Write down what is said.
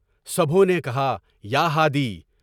سبھوں نے کہا: یہ ہادی!